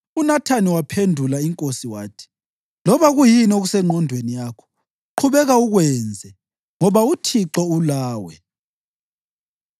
UNathani waphendula inkosi wathi, “Loba kuyini okusengqondweni yakho, qhubeka ukwenze, ngoba uThixo ulawe.”